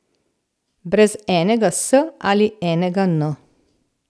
Brez enega s ali enega n.